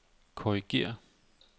korrigér